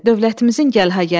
Dövlətimizin gəlha-gəlidir.